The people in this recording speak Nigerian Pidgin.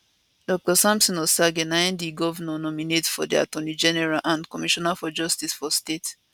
dr samson osagie na im di govnor nominate for di attorney general and commissioner for justice for state